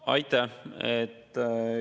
Aitäh!